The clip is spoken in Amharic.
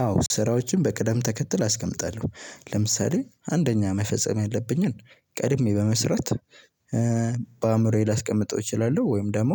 አዎ ስራዎችን በቅደም ተከትል አስቀምጣለሁ ለምሳሌ አንደኛ መፈጸም ያለብኝን ቀድሜ በመስራት በአእምሮዬ ላስቀምጠው እችላለሁ ወይም ደግሞ